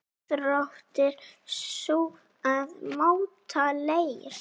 Íþrótt sú að móta leir.